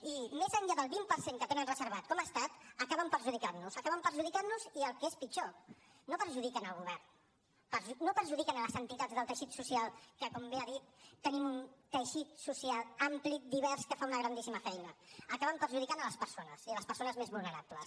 i més enllà del vint per cent que tenen reservat com a estat acaben perjudicant nos acaben perjudicant nos i el que és pitjor no perjudiquen el govern no perjudiquen les entitats del teixit social que com bé ha dit tenim un teixit social ampli divers que fa una grandíssima feina acaben perjudicant les persones i les persones més vulnerables